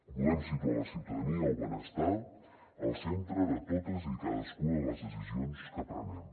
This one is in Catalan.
volem situar la ciutadania el benestar al centre de totes i cadascuna de les decisions que prenem